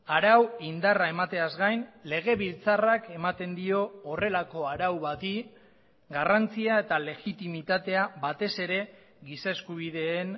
arau indarra emateaz gain legebiltzarrak ematen dio horrelako arau bati garrantzia eta legitimitatea batez ere giza eskubideen